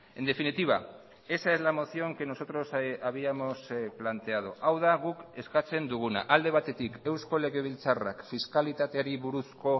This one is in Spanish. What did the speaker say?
en definitiva esa es la moción que nosotros habíamos planteado hau da guk eskatzen duguna alde batetik eusko legebiltzarrak fiskalitateari buruzko